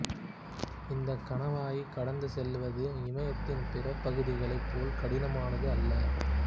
இந்தக் கணவாயைக் கடந்து செல்வது இமயத்தின் பிற பகுதிகளைப் போல் கடினமானது அல்ல